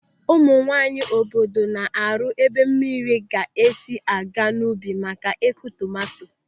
Ụmụ nwaanyị obodo na-arụ ebe mmiri ga-esi a ga n'ubi maka Ị́kụ̀ tomanto.